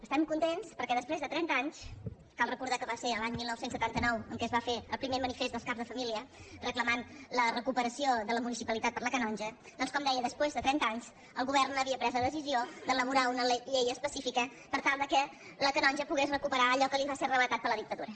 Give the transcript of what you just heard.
estàvem contents perquè després de trenta anys cal recordar que va ser l’any dinou setanta nou en què es va fer el primer manifest dels caps de família reclamant la recuperació de la municipalitat per a la canonja doncs com deia després de trenta anys el govern havia pres la decisió d’elaborar una llei específica per tal que la canonja pogués recuperar allò que li va ser arrabassat per la dictadura